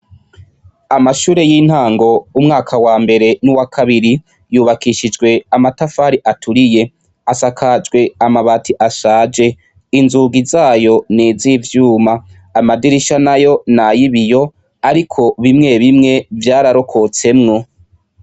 Amashure yintango umwaka wambere nuwakabiri yubakishijwe amatafari aturiye asakajwe amabati ashaje inzugi zayo nizivyuma amadirisha nayo nayibiyo ariko bimwe bimwe vyararokotsemwo.